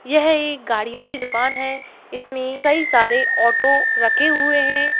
यह एक गाड़ियों की दुकान है इसमें कई सारे ऑटो रखे हुए हैं।